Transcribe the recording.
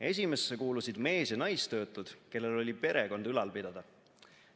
Esimesse kuulusid mees- ja naistöötud, kellel oli perekond ülal pidada.